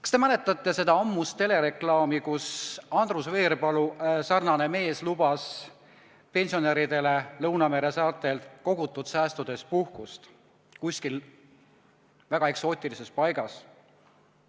Kas te mäletate seda ammust telereklaami, kus üks lõunameresaartel viibiv Andrus Veerpalu sarnane mees lubas pensionäridele kogutud säästude eest puhkust kuskil väga eksootilises paigas?